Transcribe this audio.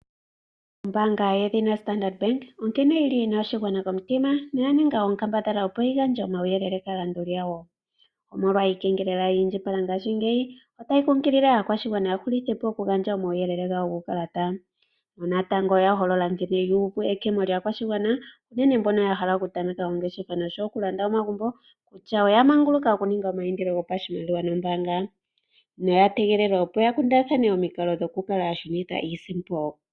Ombaanga yedhina Starndart Bank onkene yina oshigwana komitima noyaninga onkambadhala opo yigandje omauyelele kaalanduli yawo. Omolwa iikengelela ya indjipala ngashingeyi otayi kungilile aakwashigwana yahulithepo okugandja omauyele gawo guukalata. Natango oya holola nkene yuuva ekemo lyaakwashigwana unene mbono yahala okutameka ongeshefa nosho woo okulanda omagumbo kutya oya manguluka okuninga omaindilo nombaanga, noya tegelelwa opo yakundathane omikalo dhokushunitha iisimpo.